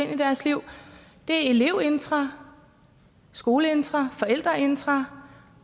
ind i deres liv er elevintra skoleintra forældreintra